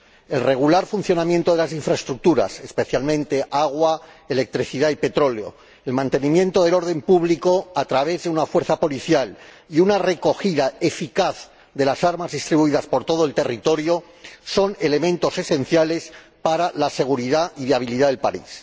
El regular funcionamiento de las infraestructuras —especialmente agua, electricidad y petróleo—, el mantenimiento del orden público a través de una fuerza policial y una recogida eficaz de las armas distribuidas por todo el territorio son elementos esenciales para la seguridad y la viabilidad del país.